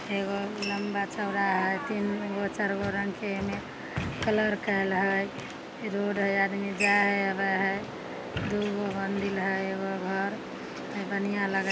एगो लंबा-चौड़ा हथिन एगो चार गो रंग के ए में कलर कायल हई रोड हई आदमी जाय हई आवे हई दू गो मंदिल हई एगो घर हई बढ़िया लगे हई।